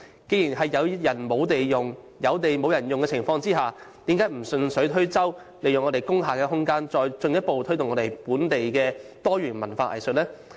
在有人沒有地用，有地沒有人用的情況下，政府何不順水推舟，利用工廈的空間，再進一步推動本地多元文化藝術呢？